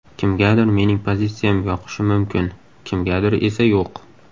Kimgadir mening pozitsiyam yoqishi mumkin, kimgadir esa yo‘q.